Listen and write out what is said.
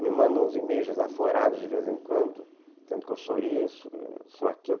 Me mandam uns e-mails desaforados de vez em quando, dizendo que eu sou isso, que eu sou aquilo.